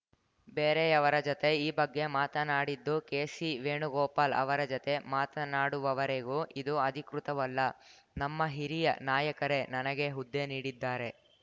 ಬೇರೆಯವರ ಜತೆ ಈ ಬಗ್ಗೆ ಮಾತನಾಡಿದ್ದು ಕೆಸಿ ವೇಣುಗೋಪಾಲ್‌ ಅವರ ಜತೆ ಮಾತನಾಡುವವರೆಗೂ ಇದು ಅಧಿಕೃತವಲ್ಲ ನಮ್ಮ ಹಿರಿಯ ನಾಯಕರೇ ನನಗೆ ಹುದ್ದೆ ನೀಡಿದ್ದಾರೆ